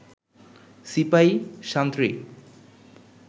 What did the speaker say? সিপাই সান্ত্রী